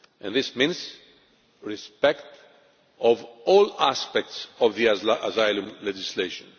This means the respect of all aspects of the asylum legislation.